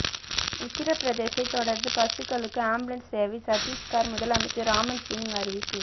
உத்திர பிரதேசத்தை தொடர்ந்து பசுக்களுக்கு ஆம்புலன்ஸ் சேவை சத்தீஸ்கர் முதலமைச்சர் ராமன்சிங் அறிவிப்பு